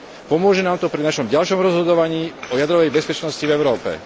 Pomôže nám to pri našom ďalšom rozhodovaní o jadrovej bezpečnosti v Európe.